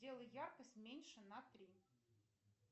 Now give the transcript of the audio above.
сделай яркость меньше на три